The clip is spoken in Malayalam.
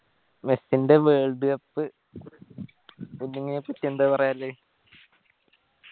മെസ്സിന്റെ world cup inning നെ പറ്റി എന്താ പറയാനില്ലേ